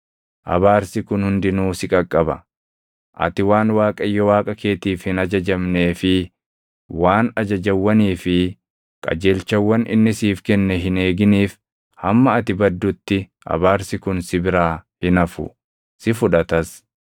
Abaarsi kun hundinuu si qaqqaba. Ati waan Waaqayyo Waaqa keetiif hin ajajamnee fi waan ajajawwanii fi qajeelchawwan inni siif kenne hin eeginiif hamma ati baddutti abaarsi kun si biraa hin hafu; si fudhatas.